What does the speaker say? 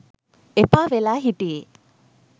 එපා වෙලා හිටියෙ.